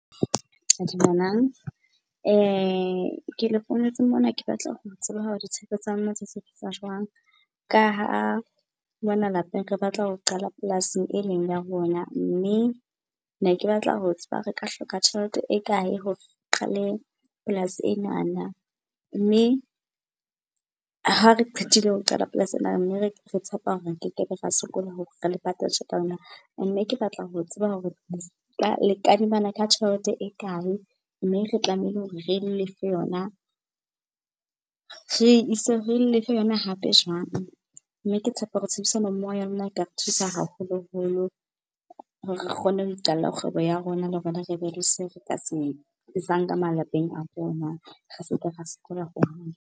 Dumelang, ke le founetse mona ke batla ho tseba hore tsa lona sebetsa jwang. Ka ha mona lapeng re batla ho qala polasing e leng ya rona, mme ne ke batla ho tseba re ka hloka tjhelete e kae hore qale polasi enana. Mme ha re qetile ho qala polasi ena, mme re tshepa hore ke ke be ra sokola hore re le patale tjhelete ya lona. ke batla ho tseba hore le kadimana ka tjhelete e kae mme re tlamehile hore re lefe yona, re ise, re lefe yona hape jwang. Mme ke tshepa hore tshebedisano mmoho ya lona e ka re thusa haholoholo hore re kgone ho iqalla kgwebo ya rona, le rona rebe le seo re ka se isang ka malapeng a rona, re seke ra sokola ho .